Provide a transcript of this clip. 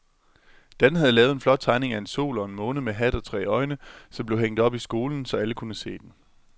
Dan havde lavet en flot tegning af en sol og en måne med hat og tre øjne, som blev hængt op i skolen, så alle kunne se den.